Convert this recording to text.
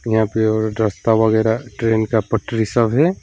यहां पे रास्ता वगैरा ट्रेन का पटरी सब है।